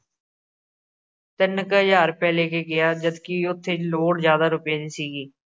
ਤਿੰਨ ਕ ਹਜ਼ਾਰ ਰੁਪਏ ਲੈ ਕੇ ਗਿਆ। ਜਦ ਕਿ ਉਥੇ ਲੋੜ ਜਿਆਦਾ ਰੁਪਏ ਦੀ ਸੀਗੀ।